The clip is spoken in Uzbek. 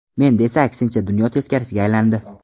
Menda esa aksincha dunyo teskariga aylandi.